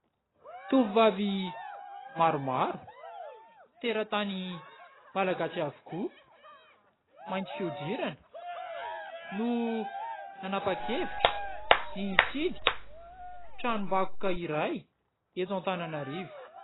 Tovovavy maromaro teratany malagasy avokoa mainty fiodirana no nanapa-kevitra ny hitsidika tranom-bakoka iray eto Antananarivo.